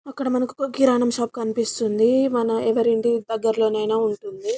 అక్కడ మనకు కిరణం షాప్ కనిపిస్తుంది ఎవరి ఇంటి దగ్గరిలో ఐనా ఉంటుంది.